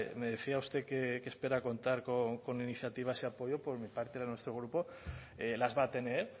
me decía usted que espera contar con iniciativas y apoyo por mi parte de nuestro grupo las va a tener